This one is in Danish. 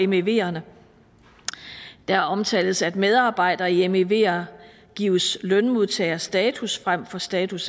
meverne der omtales at medarbejdere i mever gives lønmodtagerstatus frem for status